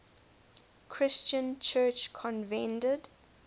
christian church convened